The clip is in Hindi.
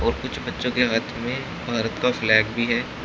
और कुछ बच्चों के हाथ में भारत का फ्लैग भी है।